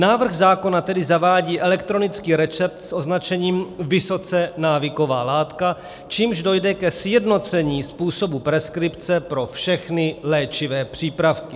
Návrh zákona tedy zavádí elektronický recept s označením "vysoce návyková látka", čímž dojde ke sjednocení způsobu preskripce pro všechny léčivé přípravky.